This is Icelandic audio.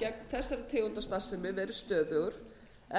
gegn þessari tegund starfsemi verið stöðugur